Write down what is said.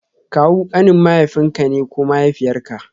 Kawu kanin mahaifinka ne ko mahaifiyarka